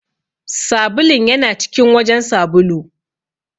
Sabulun ya na cikin wajen sabulu.